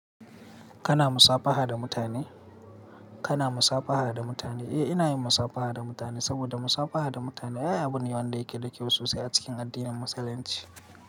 Kana musafaha da mutane? Kana musafaha da mutane? Eh, ina yin musafaha da mutane saboda musafaha da mutane ayi abin yawan da yake dake sosai a cikin addinin Musulunci.